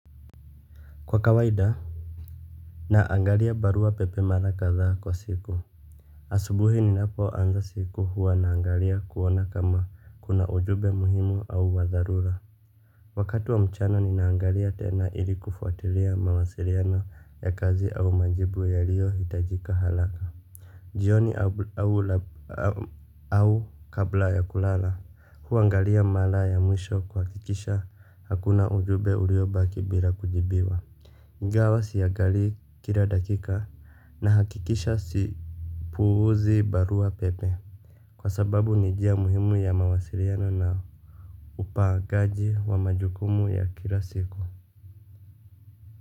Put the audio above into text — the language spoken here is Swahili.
Kwa kawaida naangalia barua pepe mara kadhaa kwa siku asubuhi ninapoanza siku huwa naangalia kuona kama kuna ujumbe muhimu au wa dharura wakati wa mchana ninaangalia tena ili kufuatilia mawasiliano ya kazi au majibu yaliyo hitajika haraka jioni au au kabla ya kulala huangalia mara ya mwisho kuhakikisha hakuna ujumbe uliobaki bila kujibiwa ingawa siangali kila dakika nahakikisha sipuuzi barua pepe kwa sababu ni njia muhimu ya mawasiliano na upangaji wa majukumu ya kila siku.